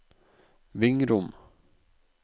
Vingrom